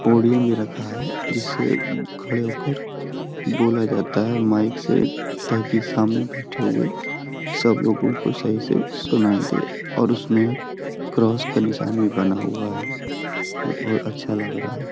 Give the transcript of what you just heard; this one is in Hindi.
पोडियम भी रखा है जिससे खड़े होकर बोला जाता है माइक सेताकि सामने बैठे हुए सब लोगों को सही से सुनाई दे और उसमे क्रॉस का निशान भी बना हुआ है जब वो अच्छा लग रहा है।